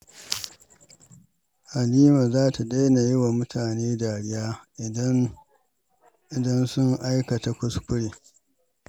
Halima za ta daina yi wa mutane dariya idan sun aikata kuskure.